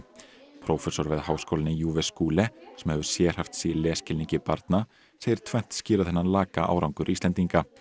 prófessor við Háskólann í sem hefur sérhæft sig í lesskilningi barna segir tvennt skýra þennan laka árangur Íslendinga